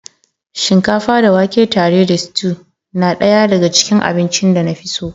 Shinkafa da wake tare da stew na ɗaya daga cikin abincin da na fi so